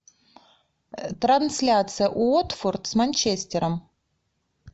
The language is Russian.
трансляция уотфорд с манчестером